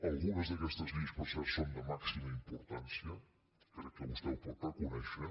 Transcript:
algunes d’aquestes lleis per cert són de màxima importància crec que vostè ho pot reconèixer